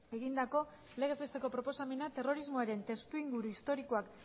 egindako legez besteko proposamena terrorismoaren testuinguru historikoak